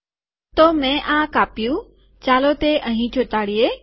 તો મેં આ કાપ્યું ચાલો તે અહીં ચોંટાડીએ